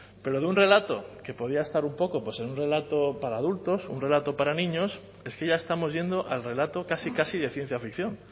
pero de un relato que podía estar un poco en un relato para adultos un relato para niños es que ya estamos yendo al relato casi casi de ciencia ficción